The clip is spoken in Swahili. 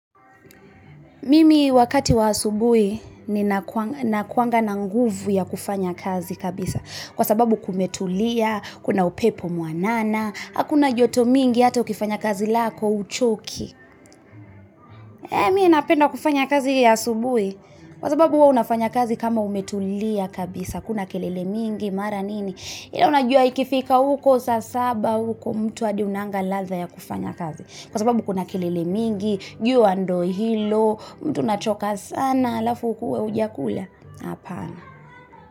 Mimi wakati wa asubuhi ninakua nakuanga na nguvu ya kufanya kazi kabisa kwa sababu kumetulia, kuna upepo mwanana, hakuna joto mingi hata ukifanya kazi lako huchoki mimi napenda kufanya kazi ya asubuhi kwa sababu hua unafanya kazi kama umetulia kabisa, hakuna kelele mingi mara nini ila unajua ikifika uko saa saba uko mtu adi hunanga ladha ya kufanya kazi kwa sababu kuna kelele mingi, jua ndio hilo mtu unachoka sana alafu uwe hujakula hapana.